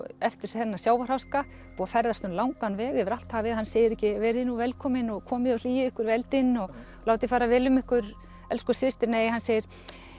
eftir þennan sjávarháska og ferðast langan veg yfir allt hafið hann segir ekki verið nú velkomin og komið og hlýið ykkur við eldinn og látið fara vel um ykkur elsku systir nei hann segir